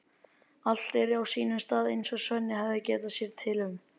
Allt er á sínum stað eins og Svenni hafði getið sér til um.